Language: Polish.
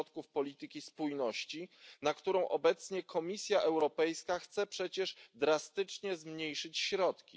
polityki spójności, na którą obecnie Komisja Europejska chce przecież drastycznie zmniejszyć środki.